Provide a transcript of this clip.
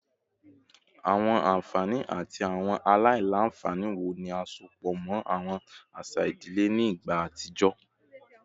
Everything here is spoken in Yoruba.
Awọn anfani ati awọn alailanfani wo ni a sopọ mọ awọn aṣa idile ni igba atijọ?